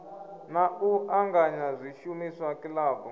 na u anganya zwishumiswa kilabu